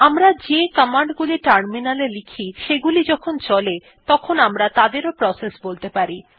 আমরা যে কমান্ড গুলি টার্মিনালে লিখি সেগুলি যখন চলে তখন আমরা তাদেরও প্রসেস বলতে পারি